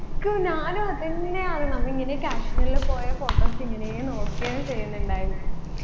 ക്ക് ഞാനും അതെന്നെയാണ് നമ്മ ഇങ്ങനെ കശ്മീരിൽ പോയ photos ഇങ്ങനേ നോക്കെന്നു ചെയ്യുന്നുണ്ടായിന്